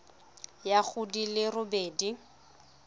ya go di le robedi